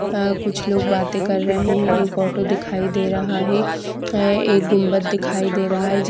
अ कुछ लोग बाते कर रहे है एक ऑटो दिखाई दे रहा है अ एक गुंबत दिखाई दे रहा है जो --